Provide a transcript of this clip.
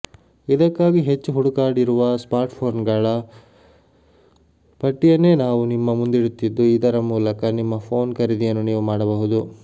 ಇದಕ್ಕಾಗಿ ಹೆಚ್ಚು ಹುಡುಕಾಡಿರುವ ಸ್ಮಾರ್ಟ್ಫೋನ್ಗಳ ಪಟ್ಟಿಯನ್ನೇ ನಾವು ನಿಮ್ಮ ಮುಂದಿಡುತ್ತಿದ್ದು ಇದರ ಮೂಲಕ ನಿಮ್ಮ ಫೋನ್ ಖರೀದಿಯನ್ನು ನೀವು ಮಾಡಬಹುದು